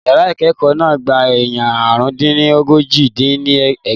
Yàrá ìkẹ́ẹ̀kọ́ náà gba èèyàn àrùn-dín-ní-ójì dín ní ẹgbàá.